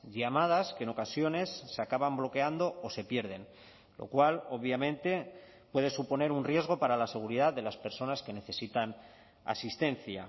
llamadas que en ocasiones se acaban bloqueando o se pierden lo cual obviamente puede suponer un riesgo para la seguridad de las personas que necesitan asistencia